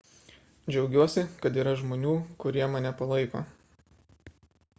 džiaugiuosi kad yra žmonių kurie mane palaiko